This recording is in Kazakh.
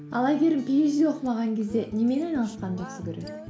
ал әйгерім пиэйчди оқымаған кезде немен айналысқанды жақсы көреді